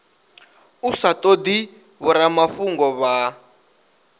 u sa todi vhoramafhungo vha